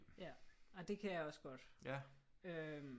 Ja ej det kan jeg også godt øh